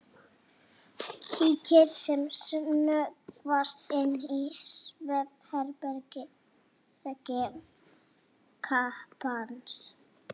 Kíkir sem snöggvast inn í svefnherbergi kappans.